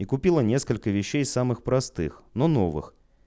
и купила несколько вещей самых простых но новых